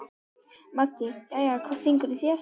Maggi: Jæja, hvað syngur í þér?